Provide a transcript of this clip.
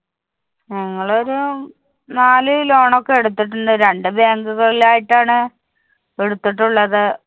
ഞങ്ങളൊരു നാല് loan ഒക്കെ എടുത്തിട്ടുണ്ട്. രണ്ട്‌ bank ഉകളിലായിട്ടാണ് എടുത്തിട്ടുള്ളത്